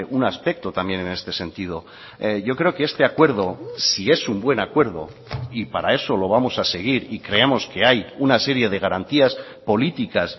un aspecto también en este sentido yo creo que este acuerdo si es un buen acuerdo y para eso lo vamos a seguir y creemos que hay una serie de garantías políticas